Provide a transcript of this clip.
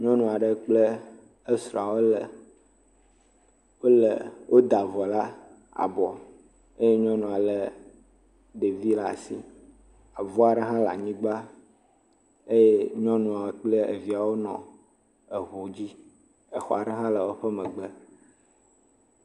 Nyɔnu aɖe kple srɔ̃a woda avɔ ɖe abɔ eye nyɔnua le ɖevi ɖe asi, avu aɖe hã le anyigba eye nyɔnua kple viawo nɔ ŋu dzi. Xɔ aɖe hã le woƒe megbe.